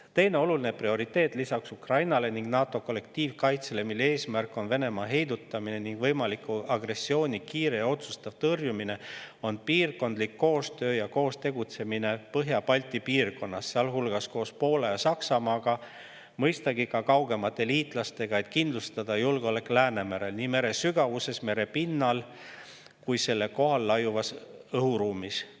Teine prioriteet lisaks Ukrainale ning NATO kollektiivkaitsele, mille eesmärk on Venemaa heidutamine ning võimaliku agressiooni kiire ja otsustav tõrjumine, on piirkondlik koostöö ja koos tegutsemine Põhja-Balti piirkonnas, sealhulgas Poola ja Saksamaaga, mõistagi ka kaugemate liitlastega, et kindlustada julgeolek Läänemerel – nii meresügavuses, merepinnal kui ka selle kohal laiuvas õhuruumis.